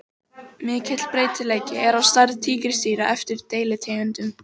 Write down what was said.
Mikill breytileiki er á stærð tígrisdýra eftir deilitegundum.